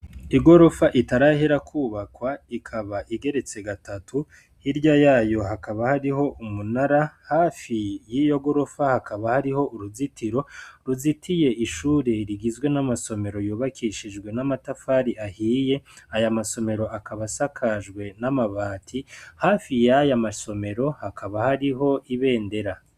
Igorofa itarahera kwubakwa ikaba igeretse gatatu hirya yayo hakaba hariho umunara, hafi y'iyo gorofa hakaba hari uruzitiro ruzitiye ishuri rigizwe n'amasomero yubakishijwe n'amatafari ahiye, aya masomero akaba asakajwe n'amabati hafi yaya masomero hakaba hariho ibendera.